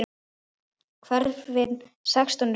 Hverfin sextán eru þessi